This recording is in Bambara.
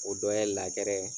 O dɔ ye